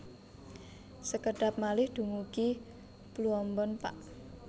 Sekedhap malih dumugi Pluombon Pak